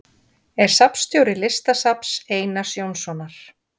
Er safnstjóri Listasafns Einars Jónssonar.